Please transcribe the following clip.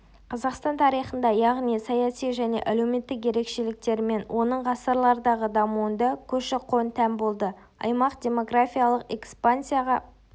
қазақстан тарихында яғни саяси және әлеуметтік ерекшеліктерімен оның ғасырлардағы дамуында көші-қон тән болды аймақ демографиялық экспансияға